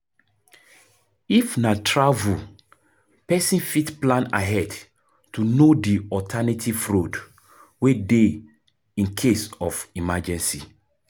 If na travel, person fit plan ahead to know di alternative road wey dey in case of emergency